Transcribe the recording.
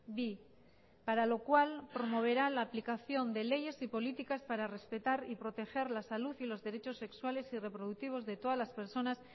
bi para lo cual promoverá la aplicación de leyes y políticas para respetar y proteger la salud y los derechos sexuales y reproductivos de todas las personas